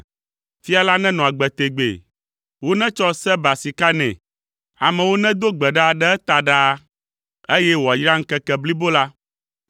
Fia la nenɔ agbe tegbee! Wonetsɔ Seba sika nɛ. Amewo nedo gbe ɖa ɖe eta ɖaa, eye wòayra ŋkeke blibo la.